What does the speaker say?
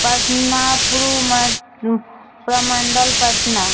पटना प्रू मा प्रमंडल पटना --